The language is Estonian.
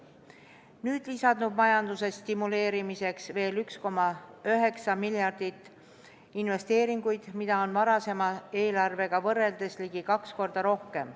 Nüüd lisandub majanduse stimuleerimiseks veel 1,9 miljardit investeeringuid, mida on varasema eelarvega võrreldes ligi kaks korda rohkem.